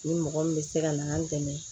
Ni mɔgɔ min bɛ se ka na an dɛmɛ